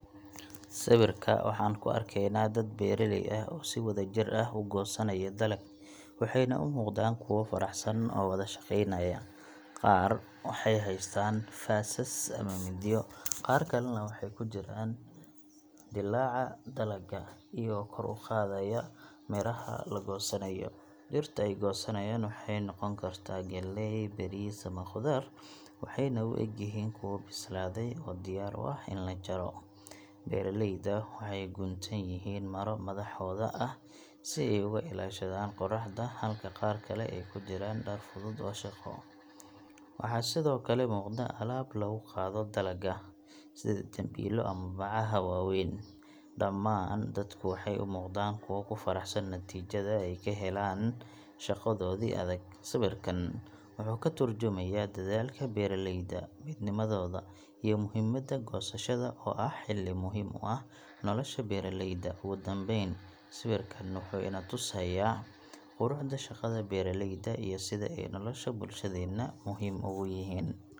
Sawirka waxaan ku arkaynaa dad beeraley ah oo si wadajir ah u goosanaya dalag, waxayna u muuqdaan kuwo faraxsan oo wada shaqaynaya. Qaar waxay haystaan faasas ama mindiyo, qaar kalena waxay ku jiraan dilaaca dalagga, iyagoo kor u qaadaya miraha la goosanayo. Dhirta ay goosanayaan waxay noqon kartaa galley, bariis ama khudaar waxayna u egyihiin kuwo bislaaday oo diyaar u ah in la jaro. Beeraleyda qaar waxay guntan yihiin maro madaxooda ah si ay uga ilaashadaan qoraxda, halka qaar kale ay ku jiraan dhar fudud oo shaqo. Waxaa sidoo kale muuqda alaab lagu qaado dalagga, sida dambiilo ama bacaha waaweyn. Dhammaan dadku waxay u muuqdaan kuwo ku faraxsan natiijada ay ka heleen shaqadoodii adag. Sawirkan wuxuu ka turjumayaa dadaalka beeraleyda, midnimadooda, iyo muhiimadda goosashada oo ah xilli muhiim u ah nolosha beeraleyda. Ugu dambayn, sawirkan wuxuu ina tusayaa quruxda shaqada beeraleyda iyo sida ay nolosha bulshadeena muhiim ugu yihiin.